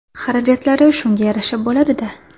Xarajatlari shunga yarasha bo‘ladi-da.